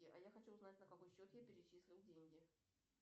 а я хочу узнать на какой счет я перечислил деньги